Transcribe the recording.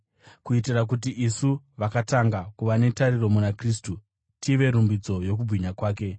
kuitira kuti isu, vakatanga kuva netariro muna Kristu, tive rumbidzo yokubwinya kwake.